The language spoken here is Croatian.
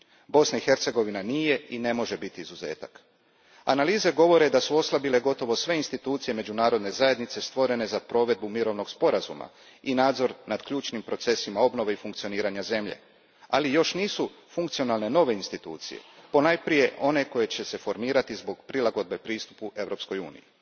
Bosna i Hercegovina nije, i ne može biti izuzetak. Analize govore da su oslabile gotovo sve institucije međunarodne zajednice stvorene za provedbu mirovnog sporazuma i nadzor nad ključnim procesima obnove i funkcioniranja zemlje. Ali nove institucije još nisu funkcionalne, ponajprije one koje će se formirati zbog prilagodbe pristupu Europskoj uniji.